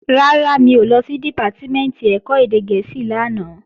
Rárá, mi ò lọ sí Dìpátímẹ̀ntì ẹ̀kọ́ èdè gẹ̀ẹ́sì lánàá